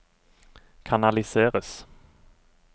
kanaliseres